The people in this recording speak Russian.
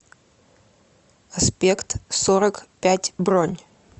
аспект сорок пять бронь